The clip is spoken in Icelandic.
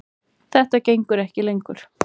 Þetta gengur ekki lengur.